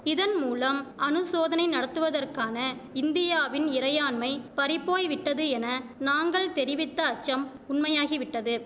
இதன்மூலம் அணுசோதனை நடத்துவதற்கான இந்தியாவின் இறையாண்மை பறிப்போய்விட்டது என நாங்கள் தெரிவித்த அச்சம் உண்மையாகிவிட்டது